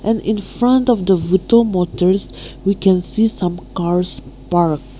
in front of the vuto motor we can see some cars parked.